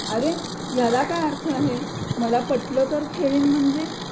अरे याला काय अर्थ आहे मला पटलं तर खेळीन म्हणजे